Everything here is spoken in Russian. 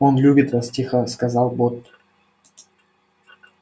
он любит вас тихо сказал бот